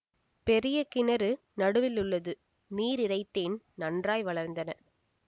பெரிய கிணறு நடுவில் உள்ளது நீர் இறைத்தேன் நன்றாய் வளர்ந்தன